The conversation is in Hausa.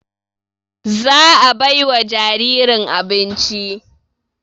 Za a bai wa jaririn abinci